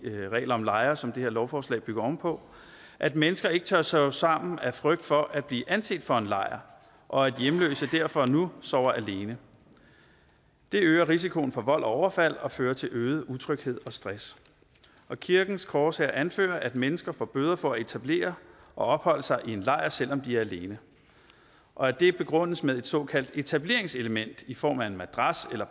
regler om lejre som det her lovforslag bygger oven på at mennesker ikke tør sove sammen af frygt for at blive anset for en lejr og at hjemløse derfor nu sover alene det øger risikoen for vold og overfald og fører til øget utryghed og stress kirkens korshær anfører at mennesker får bøder for at etablere og opholde sig i en lejr selv om de er alene og at det begrundes med et såkaldt etableringselement i form af en madras eller